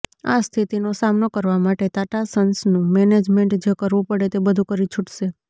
આ સ્થિતિનો સામનો કરવા માટે ટાટા સન્સનું મેનેજમેન્ટ જે કરવું પડે તે બધું કરી છૂટશે